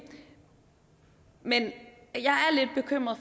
men